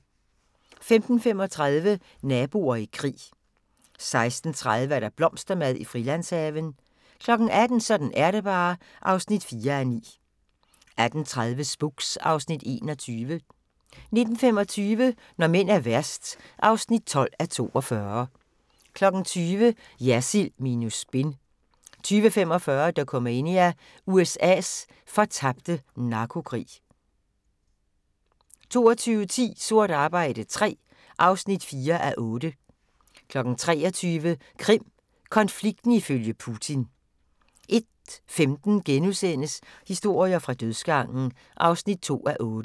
15:35: Naboer i krig 16:30: Blomstermad i Frilandshaven 18:00: Sådan er det bare (4:9) 18:30: Spooks (Afs. 21) 19:25: Når mænd er værst (12:42) 20:00: Jersild minus spin 20:45: Dokumania: USA's fortabte narkokrig 22:10: Sort arbejde III (4:8) 23:00: Krim konflikten ifølge Putin 01:15: Historier fra dødsgangen (2:8)*